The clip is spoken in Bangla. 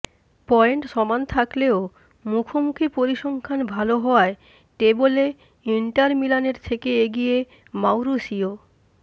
পয়েন্ট সমান থাকলেও মুখোমুখি পরিসংখ্যান ভাল হওয়ায় টেবলে ইন্টার মিলানের থেকে এগিয়ে মাউরিসিয়ো